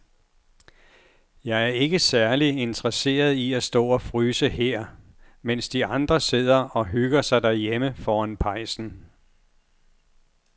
Jeg er ikke særlig interesseret i at stå og fryse her, mens de andre sidder og hygger sig derhjemme foran pejsen.